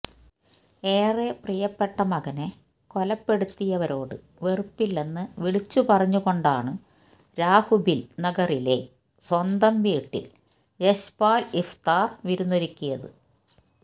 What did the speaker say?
ഏറെ പ്രിയപ്പെട്ട മകനെ കൊലപ്പെടുത്തിയവരോട് വെറുപ്പില്ലെന്ന് വിളിച്ചുപറഞ്ഞുകൊണ്ടാണ് രാഖുബിൽ നഗറിലെ സ്വന്തം വീട്ടിൽ യശ്പാൽ ഇഫ്ത്താർ വിരുന്നൊരുക്കിയത്